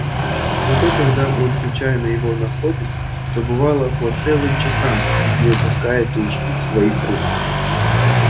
зато когда он случайно его находил то бывало по целым часам не выпускал уж из своих рук